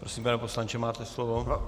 Prosím, pane poslanče, máte slovo.